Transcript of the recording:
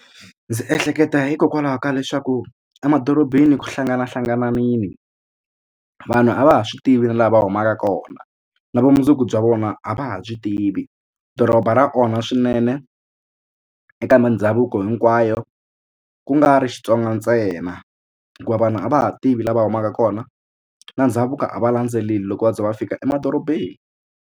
Ndzi ehleketa hikokwalaho ka leswaku emadorobeni ku hlanganahlanganile vanhu a va ha swi tivi na laha humaka kona na vumundzuku bya vona a va ha byi tivi doroba ra onha na swinene eka mindhavuko hinkwayo ku nga ri Xitsonga ntsena hikuva vanhu a va ha tivi lava humaka kona na ndhavuko a va landzeleli loko va za va fika emadorobeni.